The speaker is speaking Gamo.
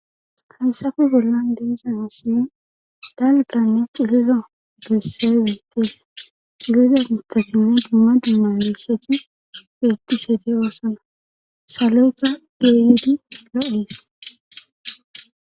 hayssafe bollan de'za misile dalganne cililo doysse wentees ilida gutatine dumma dumanesheti betti shede oosana saloykka geeydi lo7is